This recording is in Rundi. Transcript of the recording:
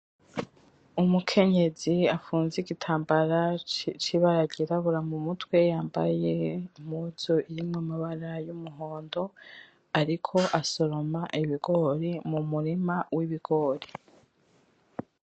Umukenyezi apfunze igitambara cibara ryirabura mumutwe yambaye impuzu irimwo amabara yumuhondo ariko asoroma ibigori mumurima wibigori